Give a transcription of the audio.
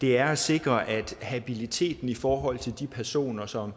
det er at sikre habiliteten i forhold til de personer som